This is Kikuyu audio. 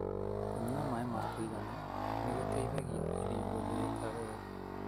Kũnyua maĩ ma kũigana nĩ gũteithagia irio gũthĩika wega.